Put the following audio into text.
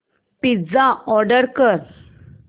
pizza order कर